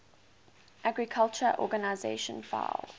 agriculture organization fao